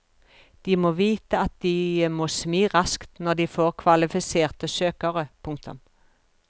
De må vite at de må smi raskt når de får kvalifiserte søkere. punktum